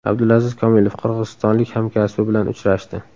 Abdulaziz Komilov qirg‘izistonlik hamkasbi bilan uchrashdi.